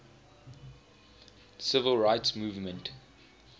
civil rights movement